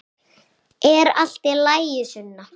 Er allt í lagi, Sunna?